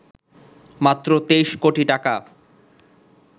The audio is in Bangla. মাত্র ২৩ কোটি টাকা